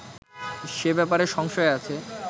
সে ব্যাপারে সংশয় আছে